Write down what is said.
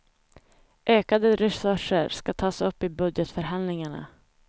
Ökade resurser ska tas upp i budgetförhandlingarna.